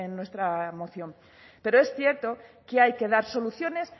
nuestra moción pero es cierto que hay que dar soluciones